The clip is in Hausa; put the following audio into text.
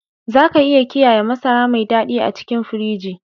Za ka iya kiyaye masara mai dadi a cikin firiji.